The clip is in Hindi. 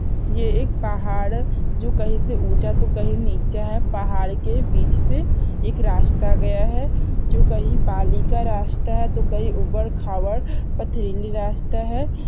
ये एक पहाड़ हैं जो कहि से ऊंचा तो कही निचा है पहाड के बिच से एक रास्ता गया है जो कहि बालि का रास्ता तो कही ऊबड़ खाबड़ पथरीली रास्ता हैं।